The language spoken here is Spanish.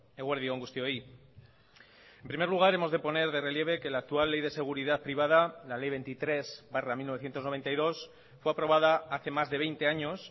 eguerdi on guztioi en primer lugar hemos de poner de relieve que la actual ley de seguridad privada la ley veintitrés barra mil novecientos noventa y dos fue aprobada hace más de veinte años